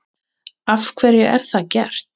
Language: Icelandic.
Af hverju er það gert?